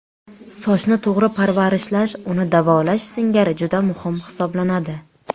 Sochni to‘g‘ri parvarishlash uni davolash singari juda muhim hisoblanadi.